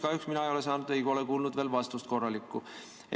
Kahjuks ei ole mina saanud või kuulnud veel korralikku vastust.